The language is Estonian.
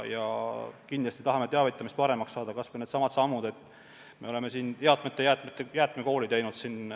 Kindlasti tahame teavitamist paremaks saada, kas või needsamad sammud, et me oleme korraldanud jäätmekoole.